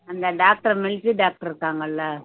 அந்த doctor military doctor இருக்காங்கல்ல